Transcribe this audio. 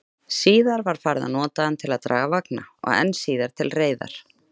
Síðar var farið að nota hann til að draga vagna, og enn síðar til reiðar.